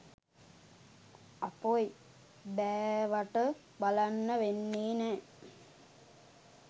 අපොයි බෑවට බලන්න වෙන්නේ නෑ